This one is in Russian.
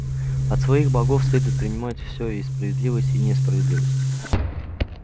от своих богов следует принимать всё и справедливость и несправедливость